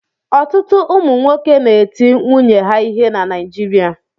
Ọtụtụ ụmụ nwoke na-eti nwunye ha ihe na Naịjirịa.